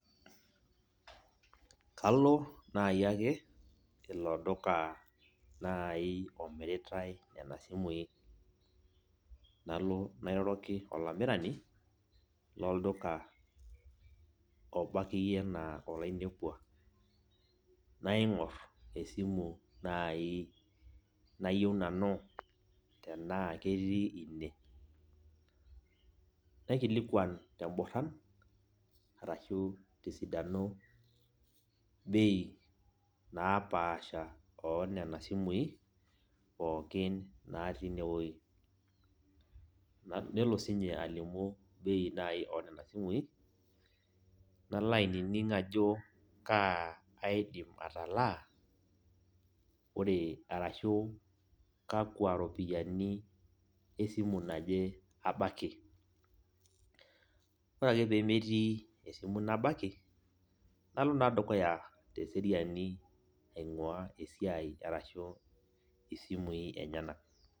Kalo nai ake ilo duka nai omiritai nena simui. Nalo nairoroki olamirani, lolduka oba akeyie enaa olainepua. Naing'or esimu nai nayieu nanu tenaa ketii ine. Naikilikwan teborran arashu tesidano bei napaasha onena simui, pookin natii inewoi. Nelo sinye alimu bei nai onena simui, nalo ainining ajo kaa aidim atalaa, ore arashu kakwa ropiyiani esimu naje abaki. Ore ake pemetii esimu nabaki, nalo naa dukuya teseriani aing'ua esiai arashu isimui enyanak.